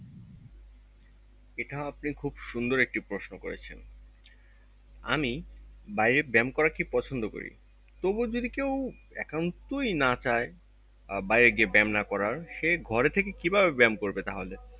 এটা আপনি একটা খুব সুন্দর একটি প্রশ্ন করেছেন আমি বাইরে ব্যায়াম করা কি পছন্দ করি তবুও যদি কেও একান্তই না চায় আহ বাইরে গিয়ে ব্যায়াম না করার সে ঘরে থেকে কি ভাবে ব্যায়াম করবে তাহলে